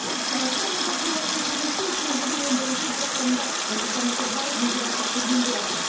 сарырақа мегажобасының құрылысын өткен жылдың он бірінші желтоқсанында нұрсұлтан назарбаев өзі бастап берген болатын